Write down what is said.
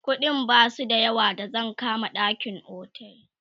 ƙuɗin Basu da yawa da zan kama ɗakin otel